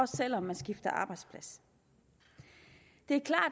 selv om man skifter arbejdsplads det